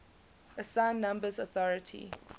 assigned numbers authority